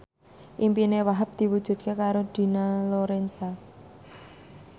impine Wahhab diwujudke karo Dina Lorenza